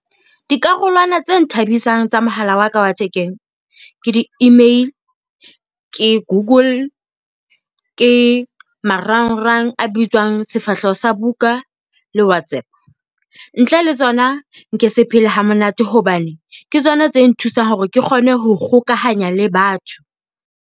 Dikarolwana tse nthabisang tsa mohala wa ka wa thekeng ke di-email, ke Google. ke marangrang a bitswang sefahleho sa buka le WhatsApp. Ntle le tsona nke se phele hamonate hobane ke tsona tse nthusang hore ke kgone ho kgokahanya le batho.